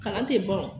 Kalan tɛ ban o